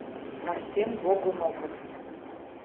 артем гогуноков